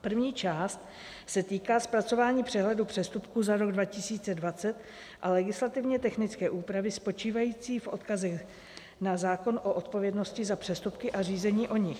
První část se týká zpracování přehledu přestupků za rok 2020 a legislativně technické úpravy spočívající v odkazech na zákon o odpovědnosti za přestupky a řízení o nich.